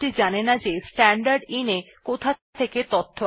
তাহলে আমরা দেখলাম কিভাবে স্ট্যান্ডার্ড ইনপুট পুননির্দেশনা করা যায়